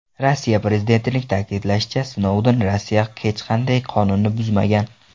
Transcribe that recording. Rossiya prezidentining ta’kidlashicha, Snouden Rossiyada hech qanday qonunni buzmagan.